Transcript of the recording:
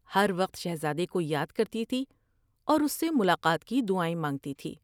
ہر وقت شہزادے کو یاد کرتی تھی اور اس سے ملاقات کی دعائیں مانگتی تھی ۔